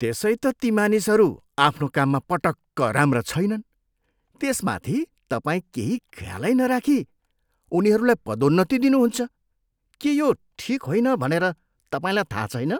त्यसै त ती मानिसहरू आफ्नो काममा पटक्क राम्रा छैनन्। त्यसमाथि तपाईँ केही ख्यालै नराखी उनीहरूलाई पदोन्नति दिनुहुन्छ। के यो ठिक होइन भनेर तपाईँलाई थाहा छैन?